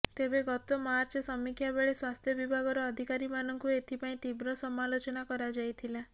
ତେବେ ଗତ ମାର୍ଚରେ ସମୀକ୍ଷାବେଳେ ସ୍ୱାସ୍ଥ୍ୟ ବିଭାଗର ଅଧିକାରୀମାନଙ୍କୁ ଏଥିପାଇଁ ତୀବ୍ର ସମାଲୋଚନା କରାଯାଇଥିଲା